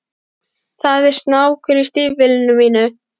Það er snákur í stígvélinu mínu?